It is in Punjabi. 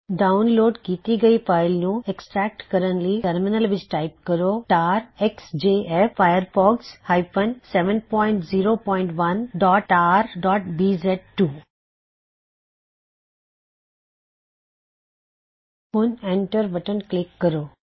ਡਾਉਨਲੋਡ ਕੀਤੀ ਹੋਈ ਫਾਇਲ ਨੂੰ ਐਕ੍ਸਟ੍ਰੈਕਟ ਕਰਨ ਲਈ ਟਰਮਿਨਲ ਵਿਚ ਟਾਇਪ ਕਰੋ160 ਤਾਰ ਐਕਸਜੇਐਫ firefox 701tarਬੀਜ਼2 ਹੁਣ ਐਂਟਰ ਬਟਨ ਕਲਿੱਕ ਕਰੋ